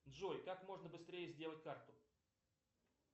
джой как можно быстрее сделать карту